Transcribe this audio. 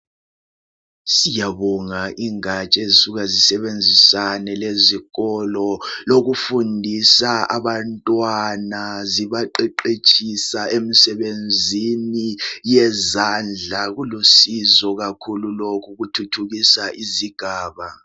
Siyabonga ingatsha ezisuka zisebenzisane lezikolo lokufundiswa abantwana zibaqeqetshisa emsebenzini yezandla kulusizo kakhulu lokhu kuthuthukisa izigaba.